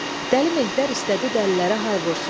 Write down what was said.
Dəli Mehtər istədi dəlilərə hay vursun.